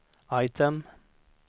item